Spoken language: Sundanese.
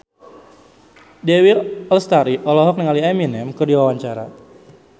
Dewi Lestari olohok ningali Eminem keur diwawancara